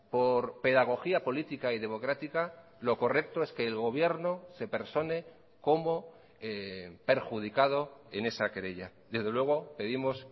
por pedagogía política y democrática lo correcto es que el gobierno se persone como perjudicado en esa querella desde luego pedimos